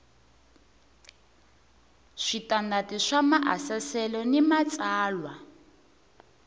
switandati swa maasesele ni matsalwa